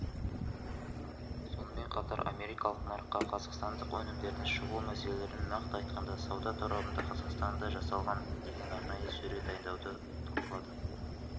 сонымен қатар америкалық нарыққа қазақстандық өнімдердің шығу мәселелерін нақты айтқанда сауда торабында қазақстанда жасалған деген арнайы сөре дайындауды талқылады